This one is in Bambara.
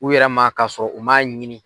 U yɛrɛ ma ka sɔrɔ u man ɲini.